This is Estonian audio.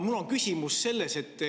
Mul on küsimus.